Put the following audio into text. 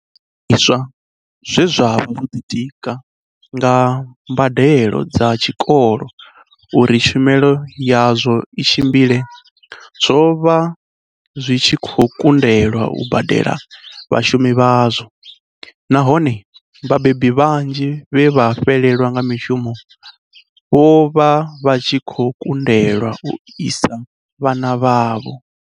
Zwiimiswa zwe zwa vha zwo ḓitika nga mbadelo dza tshikolo uri tshumelo yazwo i tshimbile zwo vha zwi tshi khou ku ndelwa u badela vhashumi vhazwo, nahone vhabebi vhanzhi vhe vha fhelelwa nga mishumo vho vha vha tshi khou kundelwa u isa vhana vhavho.